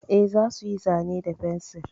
E, za su yi zane da fensir.